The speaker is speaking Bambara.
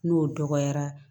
N'o dɔgɔyara